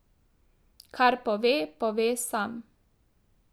Kar pove, pove sam.